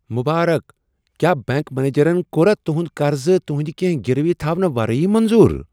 مٗبارک ! کیٛاہ بینک منیجرن کوٚر تٗہٗند قرضہٕ تٗہندِ كینہہ گِروی تھونہٕ ورٲیی منظور ؟